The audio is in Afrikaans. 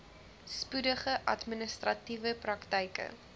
spoedige administratiewe praktyke